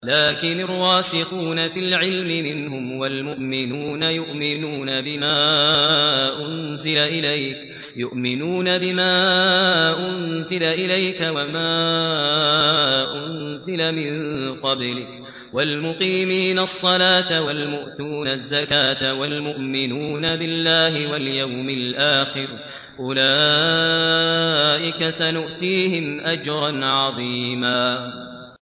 لَّٰكِنِ الرَّاسِخُونَ فِي الْعِلْمِ مِنْهُمْ وَالْمُؤْمِنُونَ يُؤْمِنُونَ بِمَا أُنزِلَ إِلَيْكَ وَمَا أُنزِلَ مِن قَبْلِكَ ۚ وَالْمُقِيمِينَ الصَّلَاةَ ۚ وَالْمُؤْتُونَ الزَّكَاةَ وَالْمُؤْمِنُونَ بِاللَّهِ وَالْيَوْمِ الْآخِرِ أُولَٰئِكَ سَنُؤْتِيهِمْ أَجْرًا عَظِيمًا